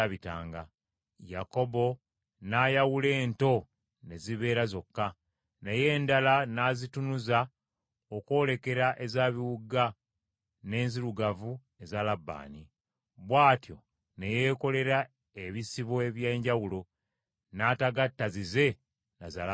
Yakobo n’ayawula ento ne zibeera zokka. Naye endala n’azitunuza okwolekera eza biwuuga n’enzirugavu eza Labbaani. Bw’atyo ne yeekolera ebisibo eby’enjawulo, n’atagatta zize na za Labbaani.